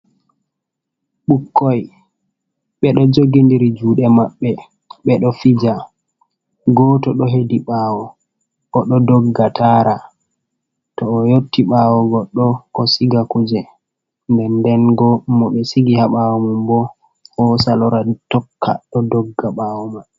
Bukkoi beɗo jogiɗiri juɗe maɓɓe. Beɗo fija goto ɗo heɗi ɓawo. Oɗo ɗogga tara to o yotti ɓawo goɗɗo ko siga kuje . nɗenɗen bo mo be sigi ha ɓawo mum bo hosa lora tokka ɗo ɗogga ɓawo mai.